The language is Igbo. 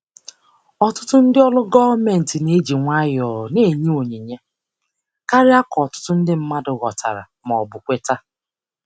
Ọtụtụ ndị ọrụ gọọmentị na-eji nwayọọ na-enye onyinye karịa ka ọtụtụ ndị mmadụ ghọtara ma ọ bụ kweta.